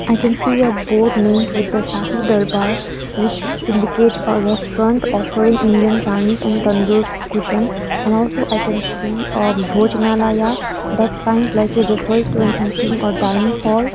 i can see a board named with the shahi darbar which indicates a restaurant offering indian chinese and tandoor cuisine and also i can see a bhojanalaya that sign slightly refers to a eating or dining hall.